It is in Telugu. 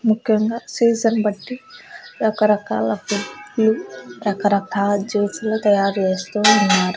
ముఖ్యంగా సీజన్ బట్టి రకరకాల రకరకాల జ్యూస్ లు తయారు చేస్తూ ఉన్నారు.